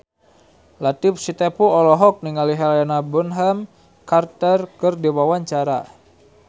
Latief Sitepu olohok ningali Helena Bonham Carter keur diwawancara